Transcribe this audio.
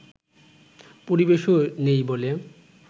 পরিবেশও নেই বলে